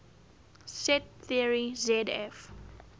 set theory zf